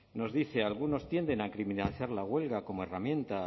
nos dice algunos tienden a criminalizar la huelga como herramienta